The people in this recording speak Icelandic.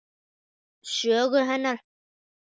Sögu hennar.